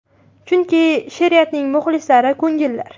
Chunki, she’riyatni muxlislari ko‘ngillar.